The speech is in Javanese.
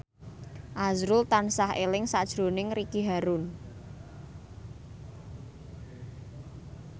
azrul tansah eling sakjroning Ricky Harun